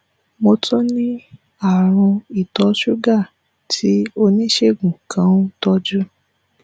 mo tún ní àrùn ìtọṣúgà tí oníṣègùn kan ń tọ́jú